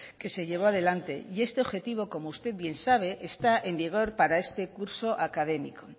que se llevó adelante y este objetivo como usted bien sabe está en vigor para este curso académico